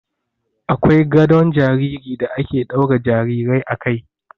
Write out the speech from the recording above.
Akwai gadon jariri da ake daura jarirai a kai.